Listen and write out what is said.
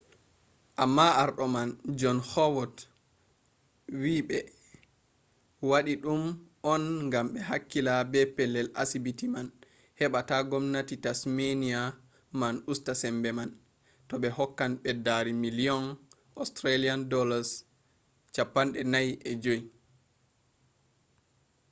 amma arɗo man jon hawod wi ɓe waɗi ɗum on gam ɓe hakkila be pellel asibiti man heɓa ta gomnati tasmeniya man usta sembe man to ɓe hokkan ɓeddari miliyon aud$45